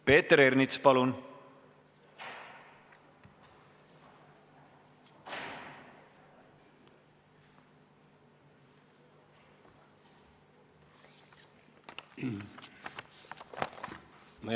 Peeter Ernits, palun!